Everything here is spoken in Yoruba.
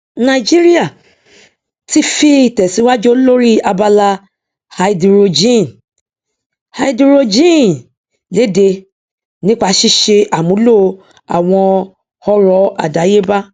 nàìjíríà ti fi ìtẹsíwájú lóri abala háídírójìn háídírójìn léde nípa ṣíṣe àmúlo àwọn ọrọ àdáyébá